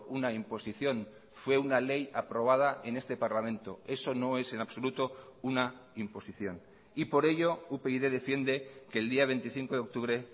una imposición fue una ley aprobada en este parlamento eso no es en absoluto una imposición y por ello upyd defiende que el día veinticinco de octubre